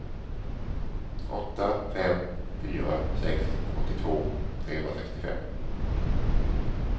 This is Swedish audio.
åtta fem fyra sex åttiotvå trehundrasextiofem